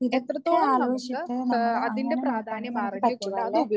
ഇതൊക്കെ ആലോചിച്ചിട്ട് നമ്മള് അങ്ങനെ നോക്കുവാണെങ്കില് നമുക്ക് പറ്റും അല്ലേ?